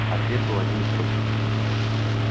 ответ был один и тот же